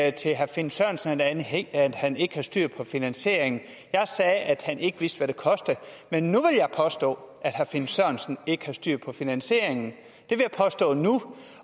ikke til herre finn sørensen at han ikke havde styr på finansieringen jeg sagde at han ikke vidste hvad det ville koste men nu vil jeg påstå at herre finn sørensen ikke har styr på finansieringen